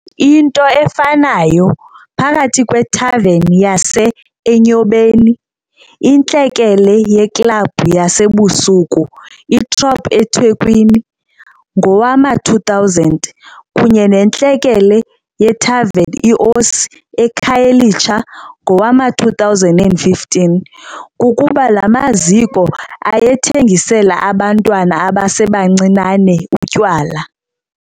Into efanayo phakathi kwethaveni yase-Enyobeni, intlekele yeklabhu yasebusuku i-Throb eThekwini ngowama-2000, kunye nentlekele yethaveni i-Osi eKhayelitsha ngowama-2015, kukuba la maziko ayethengisela abantwana abasebancinane utywala.